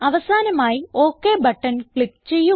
അവസാനമായി OK button click ചെയ്യുക